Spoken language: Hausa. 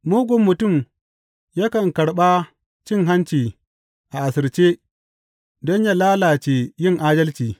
Mugun mutum yakan karɓa cin hanci a asirce don yă lalace yin adalci.